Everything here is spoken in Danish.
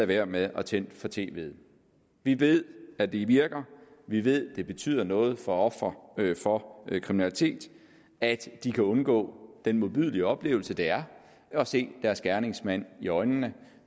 være med at tænde for tvet vi ved at det virker vi ved at det betyder noget for ofre for kriminalitet at de kan undgå den modbydelige oplevelse det er at se deres gerningsmand i øjnene